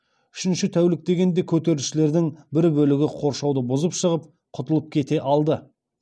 үшінші тәулік дегенде көтерілісшілердің бір бөлігі қоршауды бұзып шығып құтылып кете алды